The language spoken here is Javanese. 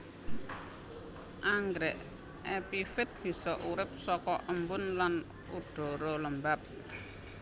Anggrèk epifit bisa urip saka embun lan udhara lembab